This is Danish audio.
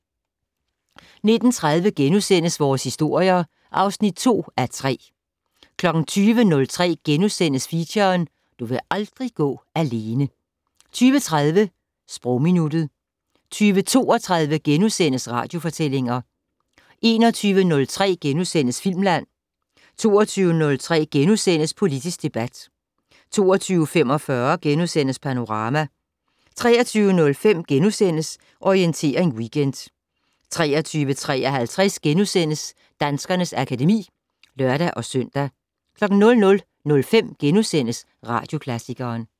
19:30: Vores historier (2:3)* 20:03: Feature: Du vil aldrig gå alene * 20:30: Sprogminuttet 20:32: Radiofortællinger * 21:03: Filmland * 22:03: Politisk debat * 22:45: Panorama * 23:05: Orientering Weekend * 23:53: Danskernes akademi *(lør-søn) 00:05: Radioklassikeren *